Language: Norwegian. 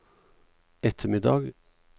ettermiddag